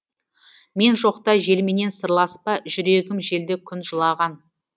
мен жоқта желменен сырласпа жүрегім желді күн жылаған